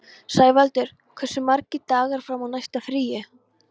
Sævaldur, hversu margir dagar fram að næsta fríi?